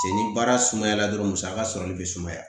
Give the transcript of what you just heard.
Cɛ ni baara sumayara dɔrɔn musaka sɔrɔli be sumaya